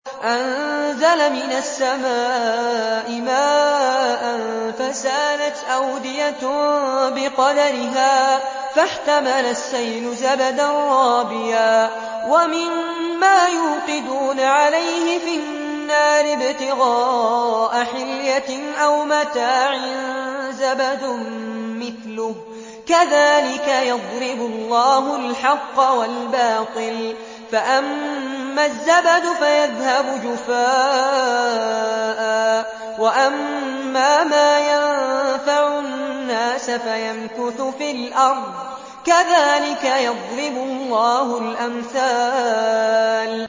أَنزَلَ مِنَ السَّمَاءِ مَاءً فَسَالَتْ أَوْدِيَةٌ بِقَدَرِهَا فَاحْتَمَلَ السَّيْلُ زَبَدًا رَّابِيًا ۚ وَمِمَّا يُوقِدُونَ عَلَيْهِ فِي النَّارِ ابْتِغَاءَ حِلْيَةٍ أَوْ مَتَاعٍ زَبَدٌ مِّثْلُهُ ۚ كَذَٰلِكَ يَضْرِبُ اللَّهُ الْحَقَّ وَالْبَاطِلَ ۚ فَأَمَّا الزَّبَدُ فَيَذْهَبُ جُفَاءً ۖ وَأَمَّا مَا يَنفَعُ النَّاسَ فَيَمْكُثُ فِي الْأَرْضِ ۚ كَذَٰلِكَ يَضْرِبُ اللَّهُ الْأَمْثَالَ